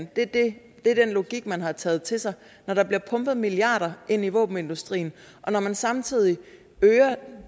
det er den logik man har taget til sig når der bliver pumpet milliarder ind i våbenindustrien og når man samtidig øger